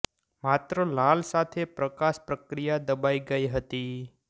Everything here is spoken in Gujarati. માત્ર લાલ સાથે પ્રકાશ પ્રક્રિયા દબાઇ ગઇ હતી